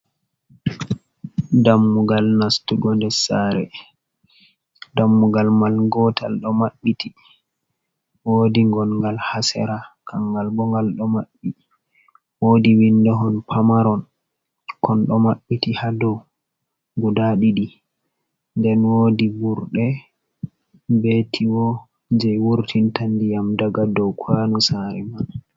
Dammugal nastugo nder saare dammugal mal gootal ɗo maɓɓiti woodi gongal haa sera, kangal bo ngal ɗo maɓɓi woodi windo hon pamaron kon ɗo mabbiti ha dow guda ɗiɗi nden woodi burɗe bee tiyo jey wurtinta ndiyam daga dow kwano saare man.